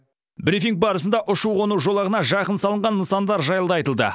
брифинг барысында ұшу қону жолағына жақын салынған нысандар жайлы да айтылды